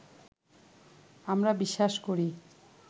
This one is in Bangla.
আমরা বিশ্বাস করি